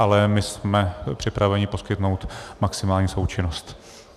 Ale my jsme připraveni poskytnout maximální součinnost.